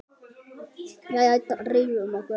Jæja, drífum okkur!